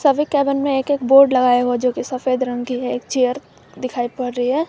सभी केबिन में एक एक बोर्ड लगाया हुआ है जो की सफेद रंग की है एक चेयर दिखाई पड़ रही है।